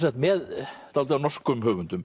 með dálítið af norskum höfundum